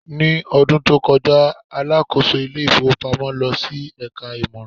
ní ọdún tí o koja, alákóso ilé ifowópamọ́ lọ sí eka imoran